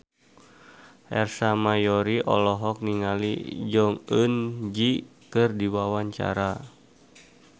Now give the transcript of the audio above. Ersa Mayori olohok ningali Jong Eun Ji keur diwawancara